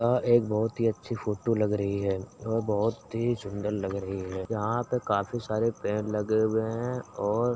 आ एक बहुत ही अच्छी फोटो लग रही है और बहुत ही सुंदर लग रही है यहाँ पे काफी सारे पेड़ लगे हुए हैं और --